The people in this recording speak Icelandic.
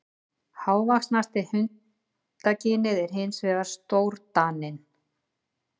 Hávaxnasta hundakynið er hins vegar stórdaninn.